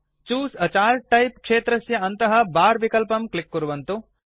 choose a chart type क्षेत्रस्य अन्तः bar विकल्पं क्लिक् कुर्वन्तु